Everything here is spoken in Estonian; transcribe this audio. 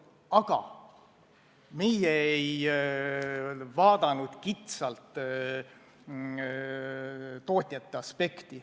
Aga meie ei arvestanud kitsalt tootjate aspekti.